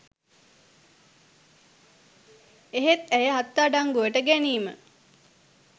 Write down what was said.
එහෙත් ඇය අත්අඩංගුවට ගැනීම